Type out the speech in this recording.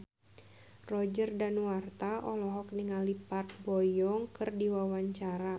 Roger Danuarta olohok ningali Park Bo Yung keur diwawancara